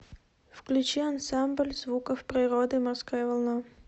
включи ансамбль звуков природы морская волна